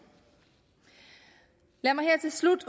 lad mig her til slut